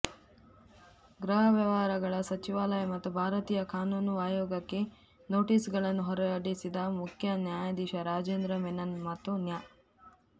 ಗೃಹ ವ್ಯವಹಾರಗಳ ಸಚಿವಾಲಯ ಮತ್ತು ಭಾರತೀಯ ಕಾನೂನು ಆಯೋಗಕ್ಕೆ ನೋಟಿಸ್ಗಳನ್ನು ಹೊರಡಿಸಿದ ಮುಖ್ಯ ನ್ಯಾಯಾಧೀಶ ರಾಜೇಂದ್ರ ಮೆನನ್ ಮತ್ತು ನ್ಯಾ